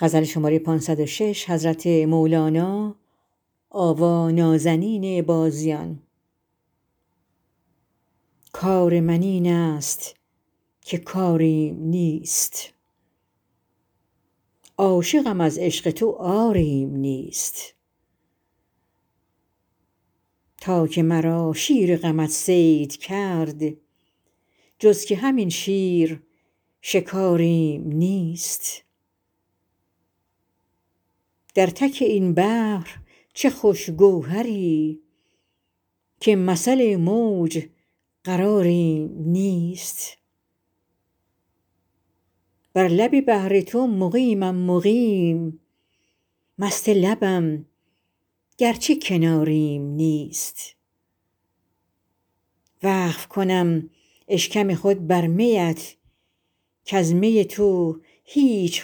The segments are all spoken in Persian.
کار من اینست که کاریم نیست عاشقم از عشق تو عاریم نیست تا که مرا شیر غمت صید کرد جز که همین شیر شکاریم نیست در تک این بحر چه خوش گوهری که مثل موج قراریم نیست بر لب بحر تو مقیمم مقیم مست لبم گرچه کناریم نیست وقف کنم اشکم خود بر میت کز می تو هیچ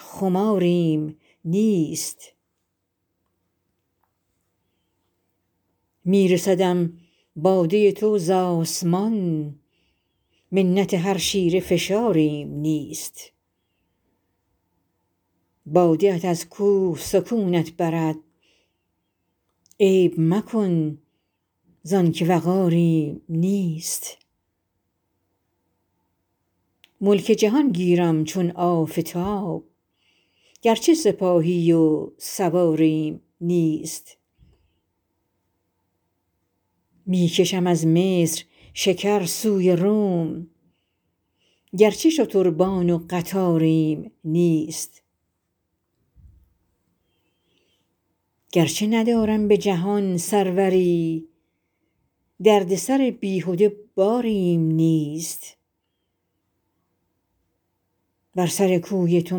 خماریم نیست می رسدم باده تو ز آسمان منت هر شیره فشاریم نیست باده ات از کوه سکونت برد عیب مکن زان که وقاریم نیست ملک جهان گیرم چون آفتاب گرچه سپاهی و سواریم نیست می کشم از مصر شکر سوی روم گرچه شتربان و قطاریم نیست گرچه ندارم به جهان سروری دردسر بیهده باریم نیست بر سر کوی تو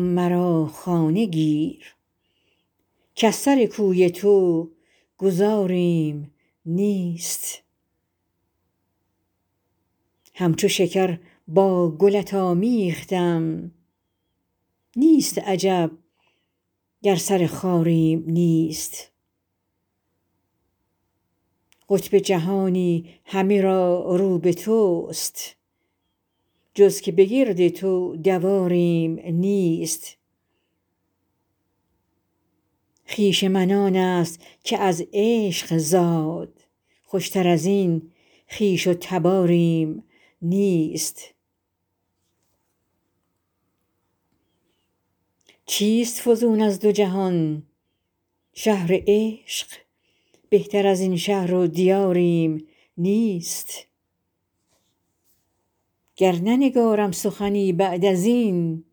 مرا خانه گیر کز سر کوی تو گذاریم نیست همچو شکر با گلت آمیختم نیست عجب گر سر خاریم نیست قطب جهانی همه را رو به توست جز که به گرد تو دواریم نیست خویش من آنست که از عشق زاد خوشتر از این خویش و تباریم نیست چیست فزون از دو جهان -شهر عشق بهتر از این شهر و دیاریم نیست گر ننگارم سخنی بعد از این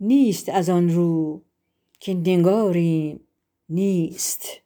نیست از آن رو که نگاریم نیست